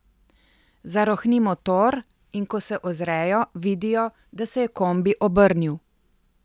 Zarohni motor, in ko se ozrejo, vidijo, da se je kombi obrnil.